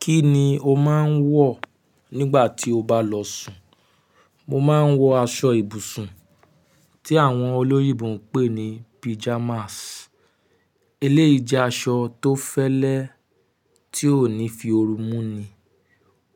Kí ni o máa ń wọ̀ nígbà tí o bá lọ sùn? Mo máa ń wọ aṣọ ibùsùn tí àwọn olóyìnbo ń pè ní pijamas. Eléyìí jẹ́ aṣọ tó fẹ́lẹ́, ti o ní fi ooru mú ni.